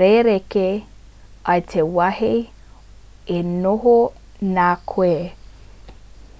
rerekē i te wāhi e noho nā koe